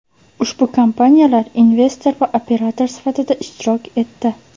Ushbu kompaniyalar investor va operator sifatida ishtirok etdi.